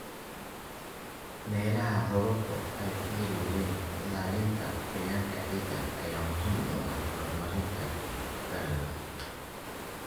Meelaha roobabku ku yar yihiin, ilaalinta qoyaanka ciidda ayaa muhiim u ah horumarinta dalagga.